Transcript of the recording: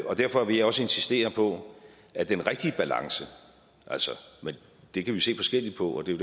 derfor vil jeg også insistere på at den rigtige balance det kan vi se forskelligt på og det